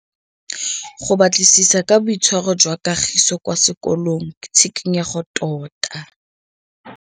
Go batlisisa ka boitshwaro jwa Kagiso kwa sekolong ke tshikinyêgô tota.